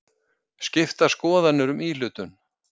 Skiptar skoðanir um íhlutun